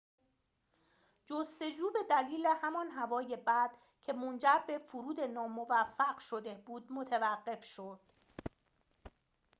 جستجو به دلیل همان هوای بد که منجر به فرود ناموفق شده بود متوقف شد